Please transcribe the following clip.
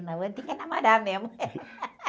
O namoro, tem que namorar mesmo.